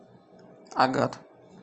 агат